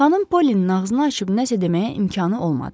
Xanım Pollinin ağzını açıb nəsə deməyə imkanı olmadı.